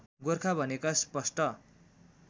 गोरखा भनेका स्पष्ट